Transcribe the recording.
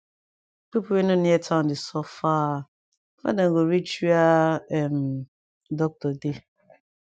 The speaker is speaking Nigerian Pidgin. pipu wey no near town dey suffer before dem go reach were um doctor dey